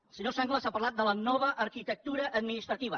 el senyor sanglas ha parlat de la nova arquitectura administrativa